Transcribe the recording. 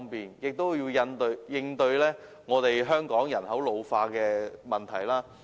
此外，政府亦應應對香港人口老化的問題。